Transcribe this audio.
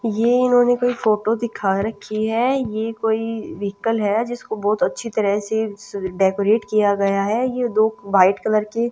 ये इन्होंने कोई फोटो दिखा रखी है ये कोई व्हीकल है जिसको बहुत अच्छी तरह से डेकोरेट किया गया है ये दो वाइट कलर के--